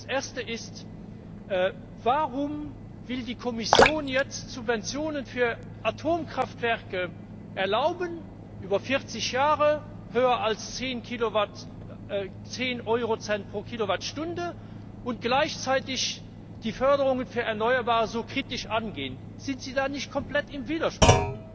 Erstens Warum will die Kommission jetzt Subventionen für Atomkraftwerke erlauben über 40 Jahre, höher als 10 Euro Cent pro Kilowattstunde und gleichzeitig die Förderungen für erneuerbare Energien so kritisch angehen? Sind Sie da nicht komplett im Widerspruch?